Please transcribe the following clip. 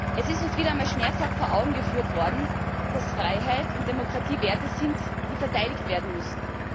Es ist uns wieder einmal schmerzhaft vor Augen geführt worden, dass Freiheit und Demokratie Werte sind, die verteidigt werden müssen.